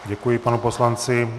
Děkuji panu poslanci.